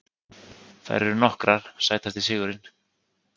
Þær eru nokkrar Sætasti sigurinn?